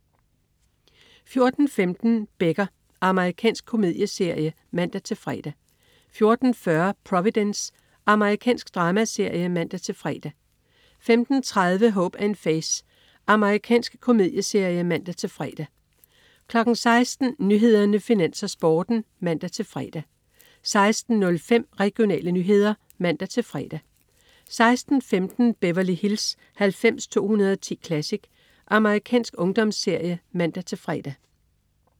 14.15 Becker. Amerikansk komedieserie (man-fre) 14.40 Providence. Amerikansk dramaserie (man-fre) 15.30 Hope & Faith. Amerikansk komedieserie (man-fre) 16.00 Nyhederne, Finans, Sporten (man-fre) 16.05 Regionale nyheder (man-fre) 16.15 Beverly Hills 90210 Classic. Amerikansk ungdomsserie (man-fre)